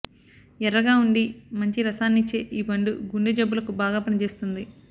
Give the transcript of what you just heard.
ఎర్రగా వుండి మంచి రసాన్నిచ్చే ఈ పండు గుండె జబ్బులకు బాగా పనిచేస్తుంది